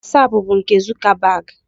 Wosapu bụ nke Zukabag.